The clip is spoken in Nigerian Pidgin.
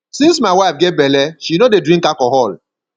since my wife get bele she no dey drink alcohol